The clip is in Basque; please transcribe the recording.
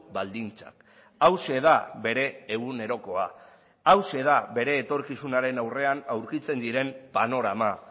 baldintzak hauxe da bere egunerokoa hauxe da bere etorkizunaren aurrean aurkitzen diren panorama